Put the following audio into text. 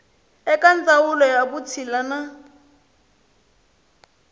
eka ndzawulo ya vutshila na